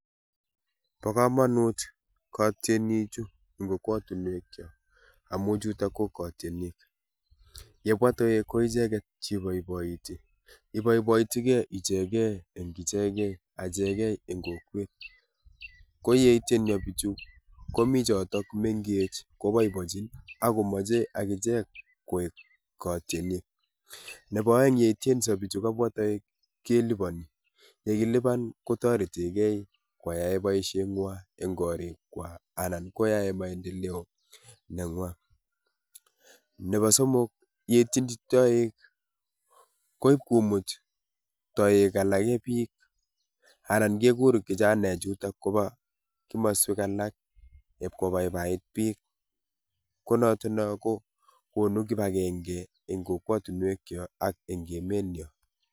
Bo kamanut katieniik chuu en kokwatiinweek kyaak amuu amuu chutoo ko katieniik ,ye bwaah toek ko ichegeet che ibaibaitii ibaibaitii gei ichegee achegeen en kokwet ko yeityeen bichuuu komii chotoon mengeech kobaibaichii ako machei agicheek katieniik nebo aeng yeityeensaa bichuu yebwaa toek kelupanii ,ye kilupaan kotareteen gei koyai boisiet nywaany en koriik kwaak anan koyai maendeleo, nebo somok yei tienjii toek ii koib komuut toek alaak biik anan keguur kijanaek chutoon kobaa komosweek alaak iib ko baibait biik ko notoon noon ko konuu kibagengei en kokwatiinweek kyaak ak en emeet nyoon.